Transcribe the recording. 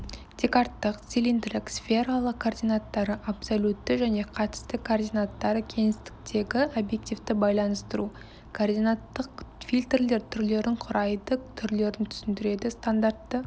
декарттық цилиндрік сфералық координаттары абсолютті және қатысты координаттары кеңістіктегі объективті байланыстыру координаттық фильтрлер түрлерін құрайды түрлерін түсіндіреді стандартты